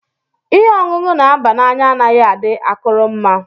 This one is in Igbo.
Ìhè ọṅụṅụ na aba n'anya anaghị adị akụrụ mma.